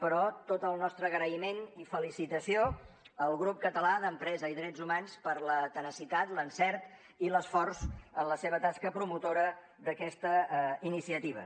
però tot el nostre agraïment i felicitació al grup català d’empresa i drets humans per la tenacitat l’encert i l’esforç en la seva tasca promotora d’aquesta iniciativa